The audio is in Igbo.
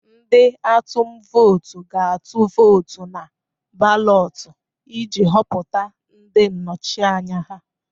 Ndị atum vootu ga-atụ vootu na balotu iji họpụta ndị nnọchi anya ha.